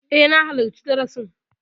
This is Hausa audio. E, na halarci darasin.